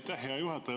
Aitäh, hea juhataja!